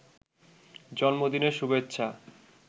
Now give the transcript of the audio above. জন্মদিনের শুভেচ্ছা